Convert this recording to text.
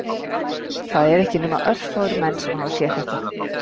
Það eru ekki nema örfáir menn sem hafa séð þetta